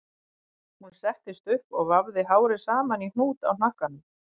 Hún settist upp og vafði hárið saman í hnút í hnakkanum